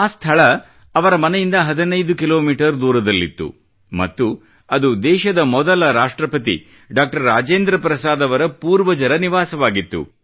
ಆ ಸ್ಥಳ ಅವರ ಮನೆಯಿಂದ 15 ಕಿಲೋಮೀಟರ್ ದೂರದಲ್ಲಿತ್ತು ಮತ್ತು ಅದು ದೇಶದ ಮೊದಲ ರಾಷ್ಟ್ರಪತಿ ಡಾಕ್ಟರ್ ರಾಜೇಂದ್ರ ಪ್ರಸಾದ್ ಅವರ ಪೂರ್ವಜರ ನಿವಾಸವಾಗಿತ್ತು